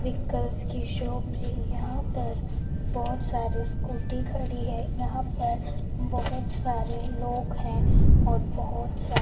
vehicles की shop है यहां पर बहुत सारे स्कूटी खड़ी है यहां पर बहुत सारे लोग हैं और बहुत सा--